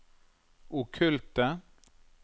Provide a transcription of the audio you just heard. okkulte